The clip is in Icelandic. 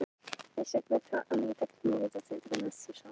En Bandaríkjamenn komust að þessari áætlun Japana og réðust gegn skipinu.